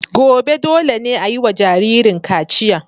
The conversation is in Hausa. Gobe, dole ne a yi wa jaririn kachiya.